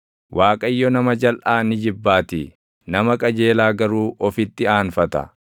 Waaqayyo nama jalʼaa ni jibbaatii; nama qajeelaa garuu ofitti aanfata.